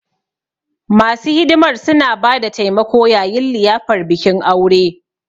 Masu hidimar suna ba da taimako yayin liyafar bikin aure.